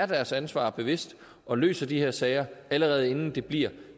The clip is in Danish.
deres ansvar bevidst og løser de her sager allerede inden det bliver